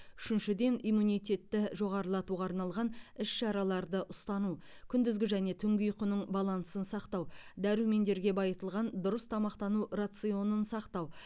үшіншіден иммунитетті жоғарылатуға арналған іс шараларды ұстану күндізгі және түнгі ұйқының балансын сақтау дәрумендерге байытылған дұрыс тамақтану рационын сақтау